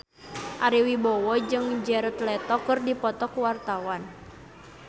Ari Wibowo jeung Jared Leto keur dipoto ku wartawan